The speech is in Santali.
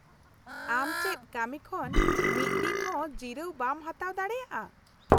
-ᱟᱢ ᱪᱮᱫ ᱠᱟᱹᱢᱤ ᱠᱷᱚᱱ ᱢᱤᱫ ᱫᱤᱱ ᱦᱚᱸ ᱡᱤᱨᱟᱹᱣ ᱵᱟᱢ ᱦᱟᱛᱟᱣ ᱫᱟᱲᱮᱭᱟᱜᱼᱟ ?